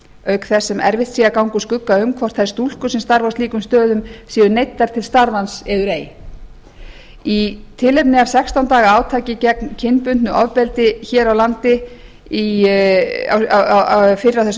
auk þess sem erfitt sé að ganga úr skugga um hvort þær stúlkur sem starfi á slíkum stöðum séu neyddar til starfans eður ei í tilefni af sextán daga átaki gegn kynbundnu ofbeldi hér á landi fyrr á þessum